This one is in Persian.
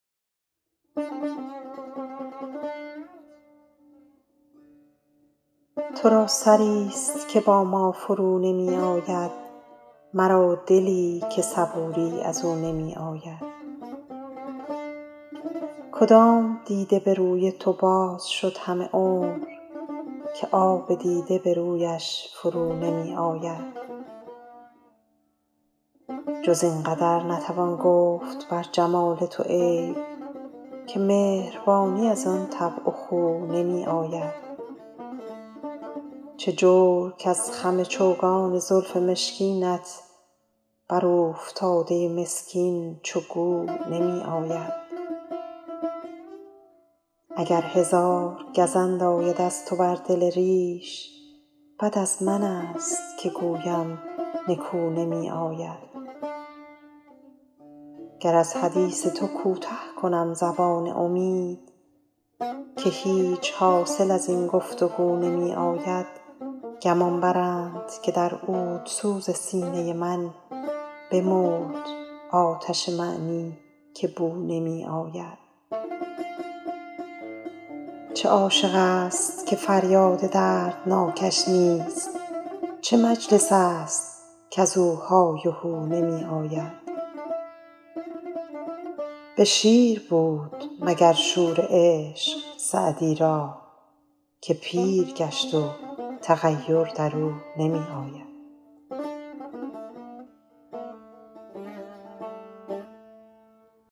تو را سری ست که با ما فرو نمی آید مرا دلی که صبوری از او نمی آید کدام دیده به روی تو باز شد همه عمر که آب دیده به رویش فرو نمی آید جز این قدر نتوان گفت بر جمال تو عیب که مهربانی از آن طبع و خو نمی آید چه جور کز خم چوگان زلف مشکینت بر اوفتاده مسکین چو گو نمی آید اگر هزار گزند آید از تو بر دل ریش بد از من ست که گویم نکو نمی آید گر از حدیث تو کوته کنم زبان امید که هیچ حاصل از این گفت وگو نمی آید گمان برند که در عودسوز سینه من بمرد آتش معنی که بو نمی آید چه عاشق ست که فریاد دردناکش نیست چه مجلس ست کز او های و هو نمی آید به شیر بود مگر شور عشق سعدی را که پیر گشت و تغیر در او نمی آید